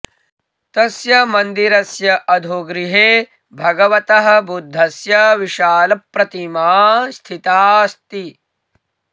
तस्य मन्दिरस्य अधोगृहे भगवतः बुद्धस्य विशालप्रतिमा स्थिता अस्ति